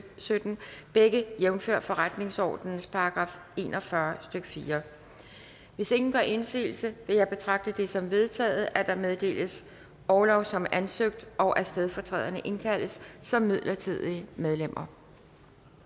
sytten begge jævnfør forretningsordenens § en og fyrre stykke fjerde hvis ingen gør indsigelse vil jeg betragte det som vedtaget at der meddeles orlov som ansøgt og at stedfortræderne indkaldes som midlertidige medlemmer